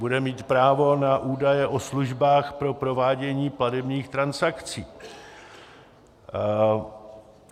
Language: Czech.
Bude mít právo na údaje o službách pro provádění platebních transakcí.